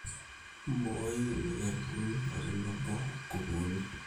Mbooi imoiarirrin otenebo nkukunik.